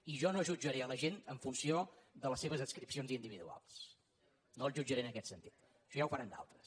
i jo no jutjaré la gent en funció de les seves adscripcions individuals no els jutjaré en aquest sentit això ja ho faran d’altres